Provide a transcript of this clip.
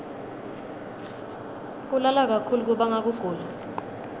kulala kakhulu kubanga kugula